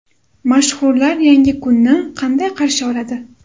Mashhurlar yangi kunni qanday qarshi oladi?.